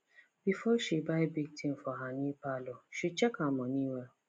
before she buy big thing for her new parlour she check her money well